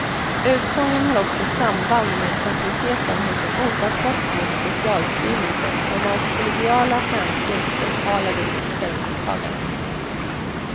Utgången har också samband med passiviteten hos en ofattbart feg socialstyrelse som av kollegiala hänsyn förhalade sitt ställningstagande.